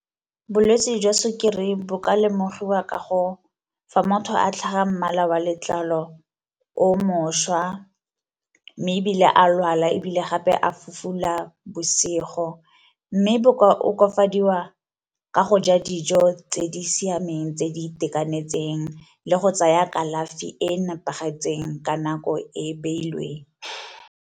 Bolwetse jwa sukiri bo ka lemogiwa ka go, fa motho a tlhaga mmala wa letlalo o mošwa, mme ebile a lwala ebile gape a fufula bosigo. Mme bo ka okafadiwa ka go ja dijo tse di siameng tse di itekanetseng le go tsaya kalafi e nepagetseng ka nako e e beilweng.